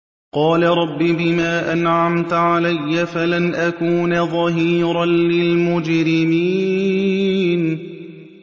قَالَ رَبِّ بِمَا أَنْعَمْتَ عَلَيَّ فَلَنْ أَكُونَ ظَهِيرًا لِّلْمُجْرِمِينَ